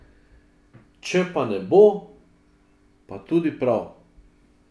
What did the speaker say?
Če pa ne bo, pa tudi prav.